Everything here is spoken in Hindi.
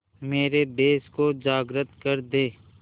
मेरे देश को जागृत कर दें